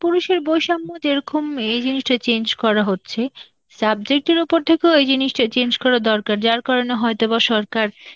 পুরুষের বৈষম্য যেরকম এই জিনিসটা change করা হচ্ছে, subject এর ওপর থেকেও এই জিনিসটা change করা দরকার, যার কারণে হয়তো বা সরকার